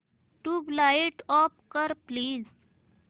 tubelight off कर please